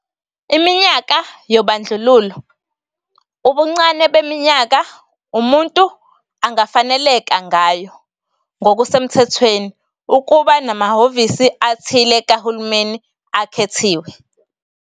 Iminyaka yobandlululo ubuncane beminyaka umuntu angafaneleka ngayo ngokusemthethweni ukuba namahhovisi athile kahulumeni akhethiwe.